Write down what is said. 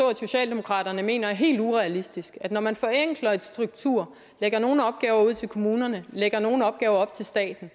at socialdemokratiet mener er helt urealistisk at man forenkler en struktur og lægger nogle opgaver ud til kommunerne og lægger nogle opgaver op til staten